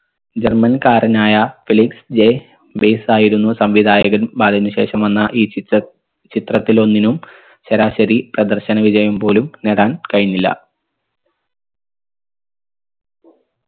german കാരനായ Felix J ബെയ്‌സായിരുന്നു സംവിധായകൻ ബാലന് ശേഷം വന്ന ഈ ചിത്ത ചിത്രത്തിലൊന്നിനും ശരാശരി പ്രദർശന വിജയം പോലും നേടാൻ കഴിഞ്ഞില്ല